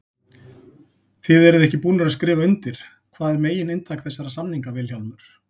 Þið eruð ekki búnir að skrifa undir, hvað er megin inntak þessara samninga Vilhjálmur?